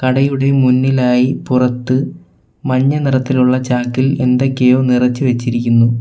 കടയുടെ മുന്നിലായി പുറത്ത് മഞ്ഞ നിറത്തിലുള്ള ചാക്കിൽ എന്തൊക്കെയോ നിറച്ച് വെച്ചിരിക്കുന്നു.